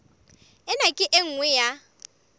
ena ke e nngwe ya